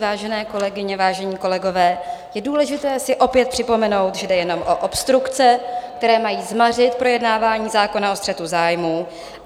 Vážené kolegyně, vážení kolegové, je důležité si opět připomenout, že jde jenom o obstrukce, které mají zmařit projednávání zákona o střetu zájmů.